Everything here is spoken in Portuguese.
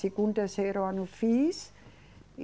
Segundo, terceiro ano fiz.